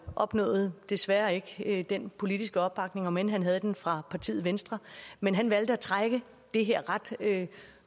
opnåede desværre ikke den politiske opbakning om end han havde den fra partiet venstre men han valgte at trække det her ret